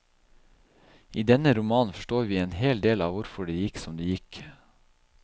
I denne romanen forstår vi en hel del av hvorfor det gikk som det gikk.